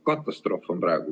Katastroof on praegu!